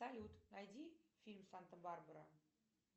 салют найди фильм санта барбара